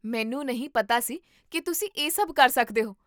ਮੈਨੂੰ ਨਹੀਂ ਪਤਾ ਸੀ ਕੀ ਤੁਸੀਂ ਇਹ ਸਭ ਕਰ ਸਕਦੇ ਹੋ